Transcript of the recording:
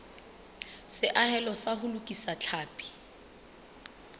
seahelo sa ho lokisa tlhapi